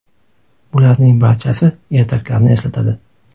Bularning barchasi ertaklarni eslatadi.